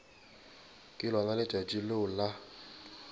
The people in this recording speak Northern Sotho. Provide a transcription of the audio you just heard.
ke lona letšatši leo la